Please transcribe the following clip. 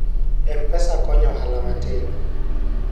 mpesa konyo ohala matindo